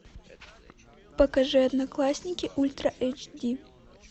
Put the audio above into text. покажи одноклассники ультра эйч ди